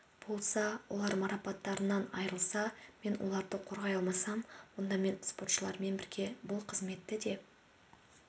болса олар марапаттарынан айырылса мен оларды қорғай алмасам онда мен спортшылармен бірге бұл қызметті де